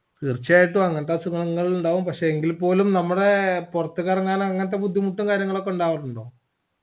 തീർച്ചയായിട്ടും അങ്ങനത്തെ അസുഗങ്ങളൊക്കെയുണ്ടാവും എങ്കിൽപ്പോലും നമ്മടെ പൊർത്ത് കറങ്ങാൻ അങ്ങനത്തെ ബുദ്ധിമുട്ടും കാര്യങ്ങളുവൊക്കെ ഉണ്ടാവായിട്ടുണ്ടോ